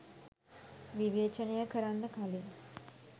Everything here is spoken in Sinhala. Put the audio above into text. විවේචනය කරන්න කලින්